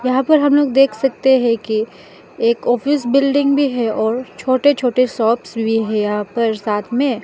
यहां पर हम लोग देख सकते हैं कि एक ऑफिस बिल्डिंग भी है और छोटे छोटे शॉप्स भी है यहां पर साथ में।